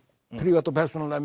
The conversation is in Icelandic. prívat og persónulega